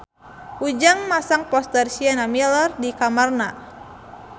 Ujang masang poster Sienna Miller di kamarna